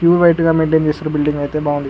Queue గ maintain చేస్తరు building అయితే బావుంది.